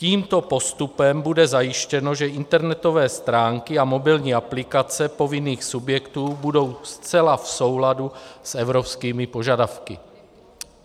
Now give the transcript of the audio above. Tímto postupem bude zajištěno, že internetové stránky a mobilní aplikace povinných subjektů budou zcela v souladu s evropskými požadavky.